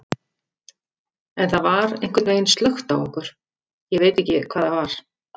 En það var einhvern veginn slökkt á okkur, ég veit ekki hvað það var.